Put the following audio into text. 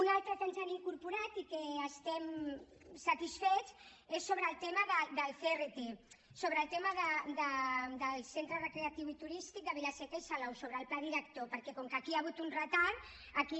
una altra que ens han incorporat i que n’estem satisfets és sobre el tema del crt sobre el tema del centre recreatiu i turístic de vila seca i salou sobre el pla director perquè com que aquí hi ha hagut un retard aquí